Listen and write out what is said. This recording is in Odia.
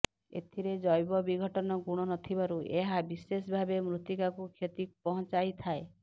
ଏଥିରେ ଜୈବ ବିଘଟନ ଗୁଣ ନଥିବାରୁ ଏହା ବିଶେଷ ଭାବେ ମୃତିକାକୁ କ୍ଷତି ପହଁଚାଇ ଥାଏ